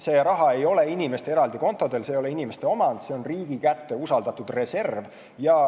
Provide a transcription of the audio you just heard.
See raha ei ole inimeste eraldi kontodel, see ei ole inimeste omand, see on riigi kätte usaldatud reserv.